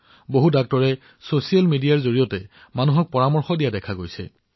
বহুতো চিকিৎসকে সামাজিক মাধ্যমৰ জৰিয়তে লোকসকলক অৱগত কৰি আছে